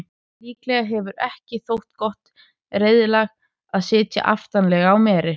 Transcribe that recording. Líklega hefur ekki þótt gott reiðlag að sitja aftarlega á meri.